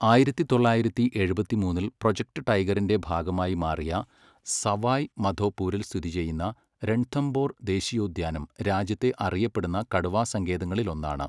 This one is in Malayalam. ആയിരത്തി തൊള്ളായിരത്തി എഴുപത്തിമൂന്നിൽ പ്രൊജക്റ്റ് ടൈഗറിന്റെ ഭാഗമായി മാറിയ സവായ് മധോപൂരിൽ സ്ഥിതിചെയ്യുന്ന രൺഥംബോർ ദേശീയോദ്യാനം രാജ്യത്തെ അറിയപ്പെടുന്ന കടുവാ സങ്കേതങ്ങളിലൊന്നാണ്.